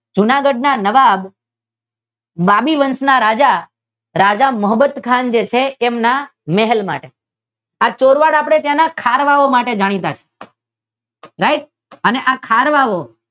જુનાગઢ ના નવાબ નાબી વંશના રાજા રાજા મહોમદ ખાન જે છે તેમના મેરેજ માટે આ ચોરવાડ શેના માટે ખારવા ઑ માટે જાણીતા છે રાઇટ આ ખારવા ઓ તેના